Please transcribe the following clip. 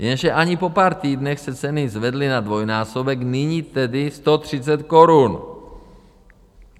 Jenže asi po pár týdnech se ceny zvedly na dvojnásobek, nyní tedy 130 korun.